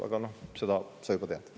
Aga seda sa juba tead.